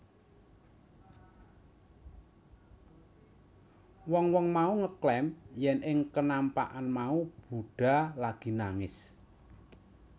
Wong wong mau ngeklaim yèn ing kenampakan mau Buddha lagi nangis